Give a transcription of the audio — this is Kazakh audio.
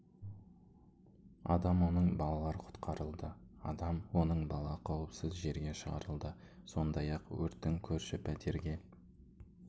адам оның балалар құтқарылды адам оның бала қауіпсіз жерге шығарылды сондай-ақ өрттің көрші пәтерге